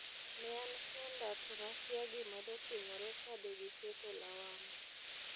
nean kenda tonakiya gimadotimore kadegigeto lawama.'